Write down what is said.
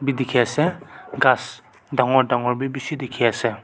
tedikhiase ghas dangor dangor bi bishi dikhiase.